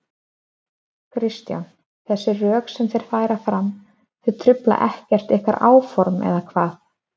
Kristján: Þessi rök sem þeir færa fram, þau trufla ekkert ykkar áform, eða hvað?